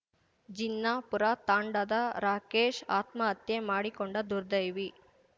ಜಿನ್ನಾಪೂರ ತಾಂಡಾದ ರಾಜೇಶ ಆತ್ಮಹತ್ಯೆ ಮಾಡಿಕೊಂಡ ದುರ್ದೈವಿ